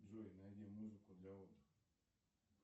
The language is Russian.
джой найди музыку для отдыха